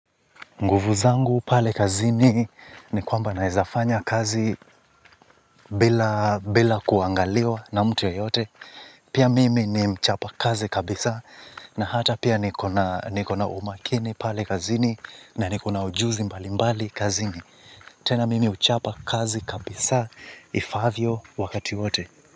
Nguvu zangu pale kazini ni kwamba naweza fanya kazi bila kuangaliwa na mtu yoyote. Pia mimi ni mchapa kazi kabisa na hata pia niko na niko na umakini pale kazini na niko na ujuzi mbali mbali kazini. Tena mimi huchapa kazi kabisa ifaavyo wakati yote.